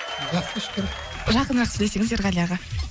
жақсы шүкір жақынырақ сөйлесеңіз ерғали аға